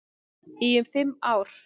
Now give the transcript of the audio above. Í um fimm ár.